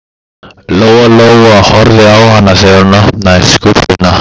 Lóa Lóa horfði á hana þegar hún opnaði skúffuna.